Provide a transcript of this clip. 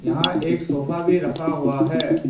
यहां एक सोफा भी रखा हुआ है।